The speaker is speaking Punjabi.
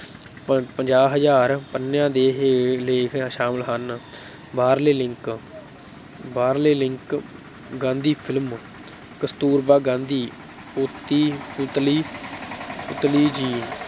ਪੰ ਪੰਜਾਹ ਹਜ਼ਾਰ ਪੰਨਿਆਂ ਦੇ ਲੇਖ ਸ਼ਾਮਲ ਹਨ ਬਾਹਰਲੇ link ਬਾਹਰਲੇ link ਗਾਂਧੀ film ਕਸਤੂਰਬਾ ਗਾਂਧੀ, ਪੁਤੀ ਪੁਤਲੀ ਪੁਤਲੀ ਜੀ